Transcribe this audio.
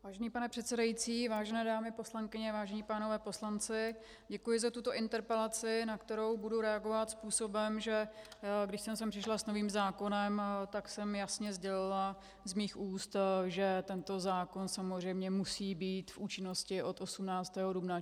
Vážený pane předsedající, vážené dámy poslankyně, vážení páni poslanci, děkuji za tuto interpelaci, na kterou budu reagovat způsobem, že když jsem sem přišla s novým zákonem, tak jsem jasně sdělila z mých úst, že tento zákon samozřejmě musí být v účinnosti od 18. dubna.